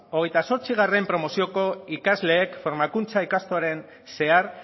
hogeita zortzigarrena promozioko ikasleek formakuntza ikastaroan zehar